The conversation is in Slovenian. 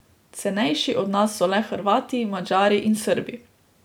Cenejši od nas so le Hrvati, Madžari in Srbi.